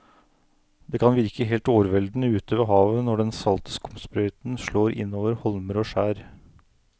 Det kan virke helt overveldende ute ved havet når den salte skumsprøyten slår innover holmer og skjær.